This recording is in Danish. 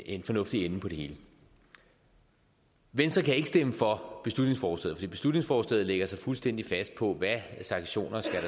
en fornuftig ende på det hele venstre kan ikke stemme for beslutningsforslaget for beslutningsforslaget lægger sig fuldstændig fast på hvilke sanktioner der